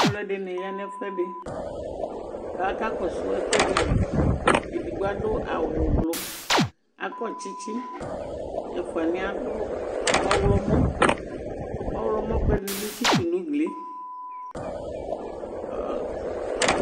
alʊɛdɩnɩ ya nʊ ɛfʊɛdɩ kʊ akakɔsʊ ɛkʊɛdɩ li, edigbo adʊ awu avavlitsɛ, akɔ tsitsi, ɛfuanɩ yɛ adʊ awu ɔwlɔmɔ, ɔwlɔmɔ kʊɛdɩ bɩ atsitʊ nʊ ugli yɛ